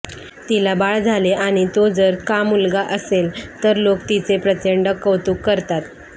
तिला बाळ झाले आणि तो जर का मुलगा असेल तर लोक तिचे प्रचंड कौतुक करतात